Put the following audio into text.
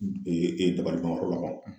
dabaliban yɔrɔ ma ban wo!